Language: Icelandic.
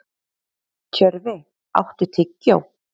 Tjörfi, áttu tyggjó?